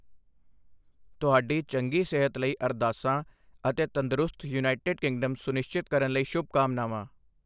ਤੁਹਾਡੀ ਚੰਗੀ ਸਿਹਤ ਲਈ ਅਰਦਾਸਾਂ ਅਤੇ ਤੰਦਰੁਸਤ ਯੂਨਾਈਟਿਡ ਕਿੰਗਡਮ ਸੁਨਿਸ਼ਚਿਤ ਕਰਨ ਲਈ ਸ਼ੁਭਕਾਮਨਾਵਾਂ।